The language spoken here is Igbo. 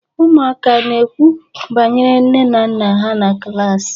Ụmụaka ana-ekwu banyere nne na nna ha na klaasị?